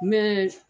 Mɛ